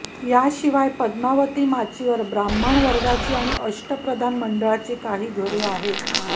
याशिवाय पद्मावती माचीवर ब्राम्हनवर्गाची आणि अष्टप्रधान मंडळाची काही घरे आहेत